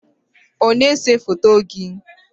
ọ na-ese foto gị?